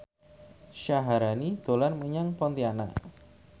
Syaharani dolan menyang Pontianak